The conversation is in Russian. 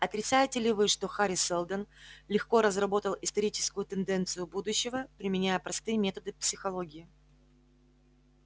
отрицаете ли вы что хари сэлдон легко разработал историческую тенденцию будущего применяя простые методы психологии